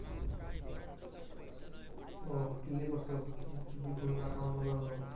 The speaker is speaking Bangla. ওহ কি কি করছো? কি কি ঘুরলা? কেমন মজা হলো?